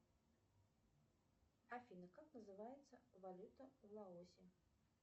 афина как называется валюта в лаосе